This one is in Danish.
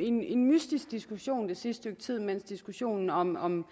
en mystisk diskussion det sidste stykke tid mens diskussionen om om